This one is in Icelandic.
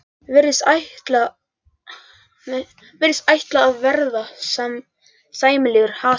Virðist ætla að verða sæmilegur hasar.